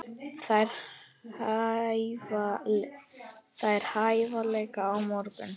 Þær hefja leik á morgun.